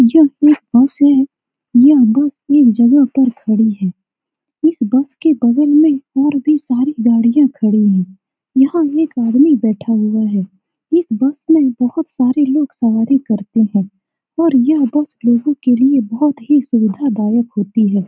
यह एक बस है यह बस एक जगह पर खडी है इस बस के बगल में और भी सारी गाड़िया खड़ी हैं यहाँ एक आदमी बैठा हुआ है इस बस में बहुत सारे लोग सवारी करते है और यह बस लोगो के लिए बहुत ही सुविधादायक होती है ।